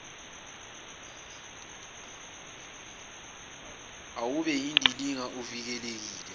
awube yindilinga uvulekile